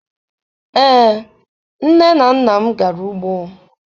Ee, nne na nna m gara ugbo.